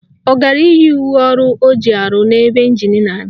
Ọ gara iyi uwe ọrụ o ji arụ n'ebe ịnjin na-adị?